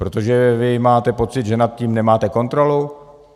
Protože vy máte pocit, že nad tím nemáte kontrolu?